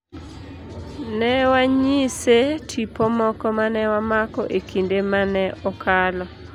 Ne wanyise tipo moko mane wamako ekinde mane okalo.